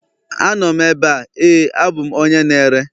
Anọ m ebe a, ,Éè abụ m onye na-ere